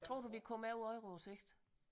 Tror du vi kommer med på euroen på sigt